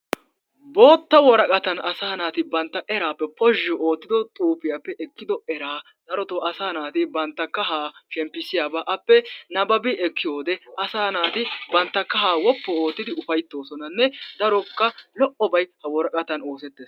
Bootta woraqataan asaa naati bantta eraappe poozhzhu oottido xuupiyaappe ekkido eraa darotoo asaa naati bantta kahaa shemppisiyaabaa appe nababi ekkiyoode asaa naati bantta kahaa wooppu oottidi ufayttoosonanne darokka lo"obay ha woraqataa bolli oosettees.